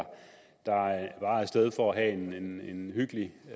sted for at have en hyggelig